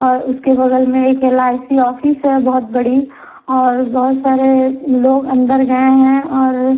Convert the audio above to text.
और उसके बगल में एक एल_आई_सी ऑफिस है बहुत बड़ी और बहुत सारे लोग अंदर गए हैं और--